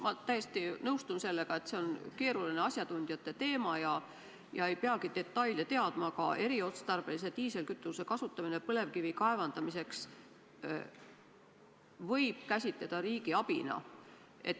Ma täiesti nõustun sellega, et see on keeruline asjatundjate teema ja me ei peagi detaile teadma, aga eriotstarbelise diislikütuse kasutamist põlevkivi kaevandamiseks võib ehk käsitada riigiabina.